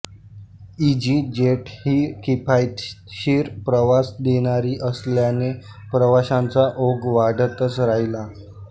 easy jet ही किफायतशीर प्रवास देणारी असल्याने प्रवाशांचा ओघ वाढतच राहिला